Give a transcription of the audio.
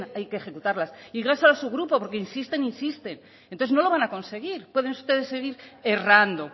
hay que ejecutarlas y dígaselo a su grupo porque insisten insisten entonces no lo van a conseguir pueden ustedes seguir errando